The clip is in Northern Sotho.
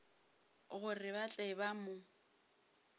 gore ba tle ba mo